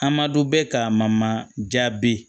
Amadu bɛ ka mamajabi